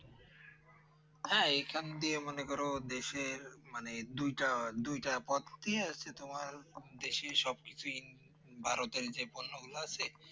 হ্যাঁ এইখান দিয়ে মনে করো দেশের মানে দুইটা দুইটা পথ আসছে তোমার দেশের সবকিছুই ভারতের যে পণ্য গুলো আছে